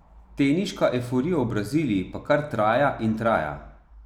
Teniška evforija v Braziliji pa kar traja in traja ...